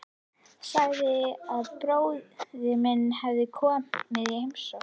Sagði að bróðir minn hefði komið í heimsókn.